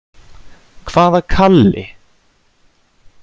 Hvaða Kalli?